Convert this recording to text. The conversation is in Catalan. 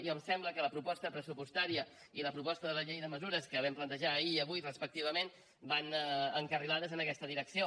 i em sembla que la proposta pressupostària i la proposta de la llei de mesures que vam plantejar ahir i avui respectivament van encarrilades en aquesta direcció